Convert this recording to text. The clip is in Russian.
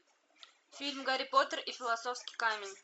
фильм гарри поттер и философский камень